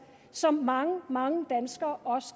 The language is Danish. som mange mange danskere